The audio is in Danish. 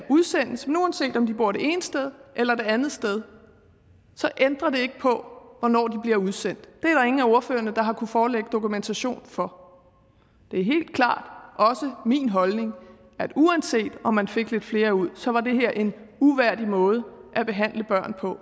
udsendes men uanset om de bor det ene sted eller det andet sted ændrer det ikke på hvornår de bliver udsendt det er der ingen af ordførerne der har kunnet forelægge dokumentation for det er helt klart også min holdning at uanset om man fik lidt flere ud så var det her en uværdig måde at behandle børn på